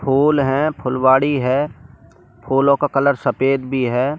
फूल है फुलवारी है फूलों का कलर सफेद भी हैं।